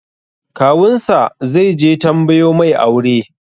Kawun sa zai je tambayo mai aure